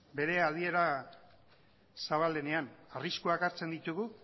bere adiera zabalenean arriskuak hartzen ditugu